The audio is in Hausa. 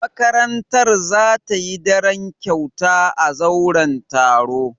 Makarantar za ta yi daren kyauta a zauren taro.